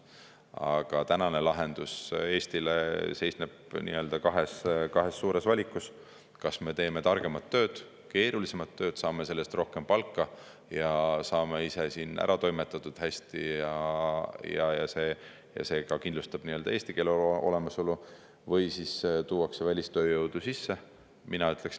Aga tänane lahendus Eestile seisneb kahes suures valikus: kas me teeme targemat tööd, keerulisemat tööd, saame selle eest rohkem palka, saame ise siin hästi ära toimetatud ja see kindlustab ka eesti keele olemasolu või siis tuuakse välistööjõudu sisse.